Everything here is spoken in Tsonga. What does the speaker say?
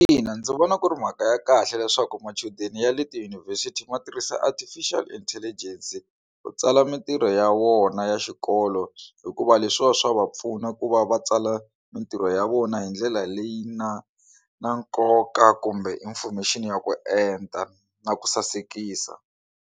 Ina, ndzi vona ku ri mhaka ya kahle leswaku machudeni ya le tidyunivhesiti ma tirhisa artificial intelligence ku tsala mitirho ya vona ya xikolo hikuva leswiwa swa va pfuna ku va va tsala mitirho ya vona hi ndlela leyi na na nkoka kumbe information ya ku enta na ku sasekisa.